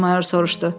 Mayor soruşdu.